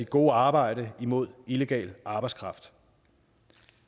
gode arbejde imod illegal arbejdskraft